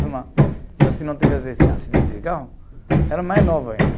E eu se não tivesse esse acidente de carro, era mais novo ainda.